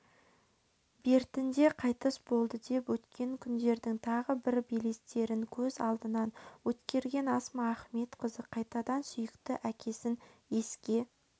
бертінде қайтыс болды деп өткен күндердің тағы бір белестерін көз алдынан өткерген асма ахметқызы қайтадан сүйікті әкесін еске